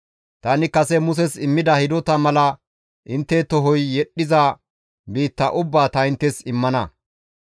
Tani kase Muses immida hidota mala intte tohoy yedhdhiza biitta ubbaa ta inttes immana.